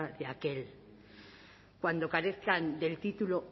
de aquel cuando carezcan del título